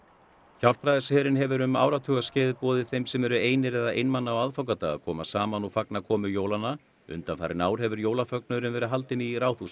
Hjálpræðisherinn hefur um áratuga skeið boðið þeim sem eru einir eða einmana á aðfangadag að koma saman og fagna komu jólanna undanfarin ár hefur verið haldinn í Ráðhúsi